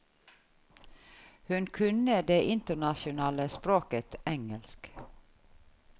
Hun kunne det internasjonale språket engelsk.